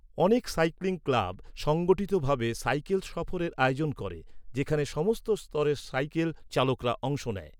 অনেক cycling club সংগঠিতভাবে cycle সফরের আয়োজন করে যেখানে সমস্ত স্তরের সাইকেল চালকরা অংশ নেয়।